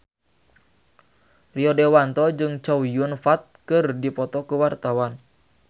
Rio Dewanto jeung Chow Yun Fat keur dipoto ku wartawan